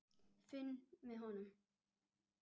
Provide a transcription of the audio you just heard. Finn með honum.